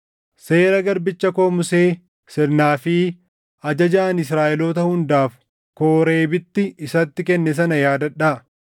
“Seera garbicha koo Musee, sirnaa fi ajaja ani Israaʼeloota hundaaf Kooreebitti isatti kenne sana yaadadhaa.